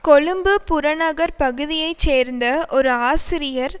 கொழும்பு புறநகர் பகுதியை சேர்ந்த ஒரு ஆசிரியர்